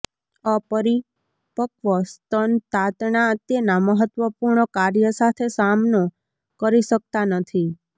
અપરિપક્વ સ્તન તાતણા તેના મહત્વપૂર્ણ કાર્ય સાથે સામનો કરી શકતા નથી